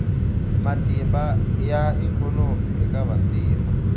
matimba ya ikhonomi eka vantima